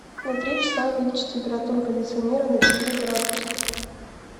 на три часа увеличить температуру кондиционера на четыре градуса